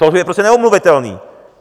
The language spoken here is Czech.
To je prostě neomluvitelné.